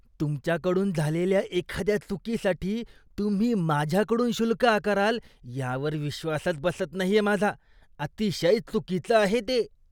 तुमच्या कडून झालेल्या एखाद्या चुकीसाठी तुम्ही माझ्याकडून शुल्क आकाराल यावर विश्वासच बसत नाहीये माझा. अतिशय चुकीचं आहे हे.